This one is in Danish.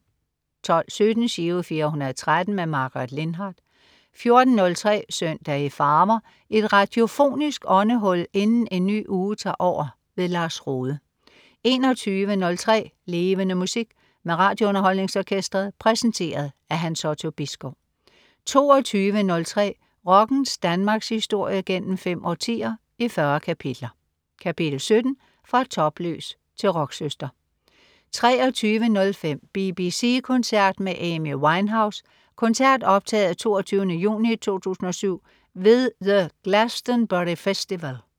12.17 Giro 413. Margaret Lindhardt 14.03 Søndag i farver. Et radiofonisk åndehul inden en ny uge tager over. Lars Rohde 21.03 Levende Musik. Med RadioUnderholdningsOrkestret. Præsenteret af Hans Otto Bisgaard 22.03 Rockens Danmarkshistorie gennem fem årtier, i 40 kapitler. Kapitel 17: Fra topløs til rocksøster 23.05 BBC koncert med Amy Winehouse. koncert optaget 22. juni 2007 ved The Glastonbury Festival